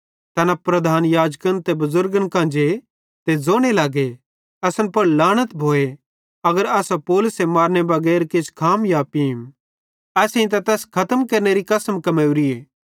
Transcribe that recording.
तैना प्रधान याजकन ते बुज़ुर्गन कां जे ते ज़ोने लगे असन पुड़ लांनत भोए अगर असां पौलुसे मारनेरे बगैर किछ खाम या पींम असेईं त तैस खतम केरनेरी कसम कमेवरीए